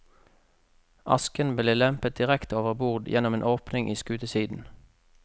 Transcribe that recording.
Asken ble lempet direkte overbord gjennom en åpning i skutesiden.